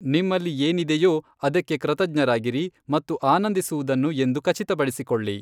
ನಿಮ್ಮಲ್ಲಿ ಏನಿದೆಯೊ ಅದಕ್ಕೆ ಕೃತಜ್ಞರಾಗಿರಿ ಮತ್ತು ಆನಂದಿಸುವುದನ್ನು ಎಂದು ಖಚಿತಪಡಿಸಿಕೊಳ್ಳಿ.